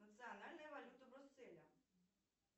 национальная валюта брюсселя